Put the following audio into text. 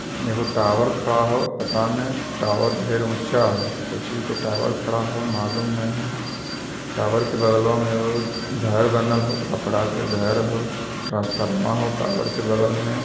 एगो टॉवर खड़ा हो पता ने टॉवर ढेर ऊंचा हो कोई चीज के टॉवर खड़ा हो मालूम ने हो टावर के बगल वा में एगो घर बनल हो खपरा के घर हो ट्रांसफार्मर हो टॉवर के बगल में।